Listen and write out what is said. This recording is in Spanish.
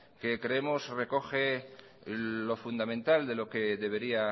que creemos recoge lo fundamental de lo que debería